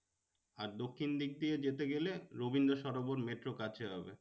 আর দক্ষিণ দিক দিয়ে যেতে গেলে রবীন্দ্র সরোবর মেট্রো কাছে হবে।